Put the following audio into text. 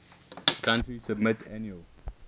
country submit annual